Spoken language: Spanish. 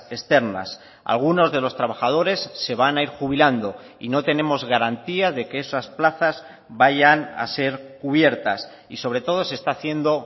externas algunos de los trabajadores se van a ir jubilando y no tenemos garantía de que esas plazas vayan a ser cubiertas y sobre todo se está haciendo